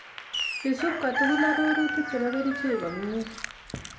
Isub kotugul arorutik chebo kerichek komie